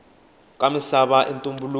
ka misava i ntumbuluko